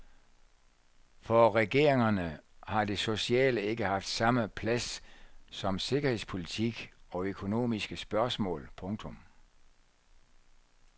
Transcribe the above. For regeringerne har det sociale ikke haft samme plads som sikkerhedspolitik og økonomiske spørgsmål. punktum